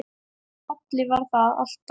Halli var alltaf að.